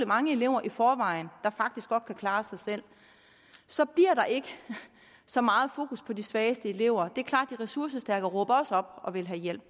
mange elever i forvejen der faktisk godt kan klare sig selv så bliver der ikke så meget fokus på de svageste elever det er klart for de ressourcestærke råber også op og vil have hjælp